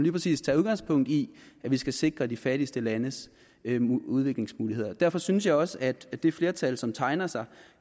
præcis tager udgangspunkt i at vi skal sikre de fattigste landes udviklingsmuligheder derfor synes jeg også at det flertal som tegner sig